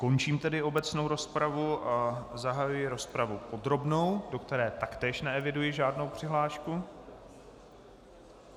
Končím tedy obecnou rozpravu a zahajuji rozpravu podrobnou, do které taktéž neeviduji žádnou přihlášku.